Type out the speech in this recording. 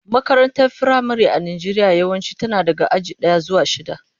Makarantar firamare a Najeriya yawanci tana daga aji daya zuwa shida.